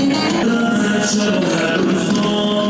Kərbəla Rza!